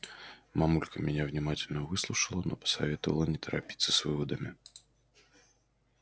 мамулька меня внимательно выслушала но посоветовала не торопиться с выводами